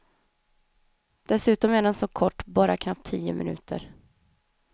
Dessutom är den så kort, bara knappt tio minuter.